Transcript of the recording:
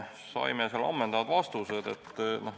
Saime ammendavad vastused.